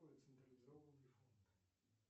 централизованный фонд